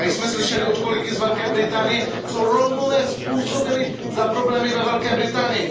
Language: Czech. Slyšeli jsme tady od kolegy z Velké Británie, co Romové způsobili za problémy ve Velké Británii.